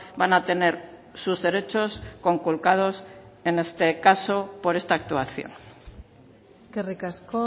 van a tener sus derechos conculcados en este caso por esta actuación eskerrik asko